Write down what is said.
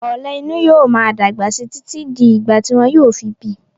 Ọ̀lẹ̀ inú yóò máa dàgbà síi títí di ìgbà tí wọn yóò fi bíi.